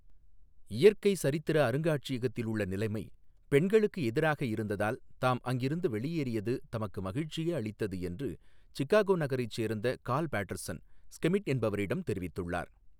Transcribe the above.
இயற்கை சரித்திர அருங்காட்சியகத்தில் உள்ள நிலைமை பெண்களுக்கு எதிராக இருந்ததால் தாம் அங்கிருந்து வெளியேறியது தமக்கு மகிழ்ச்சியே அளித்தது என்று சிகாகோ நகரைச் சோ்ந்த காா்ல் பாட்டா்சன் ஸ்கெமிட் என்பவாிடம் தொிவித்துள்ளாா்.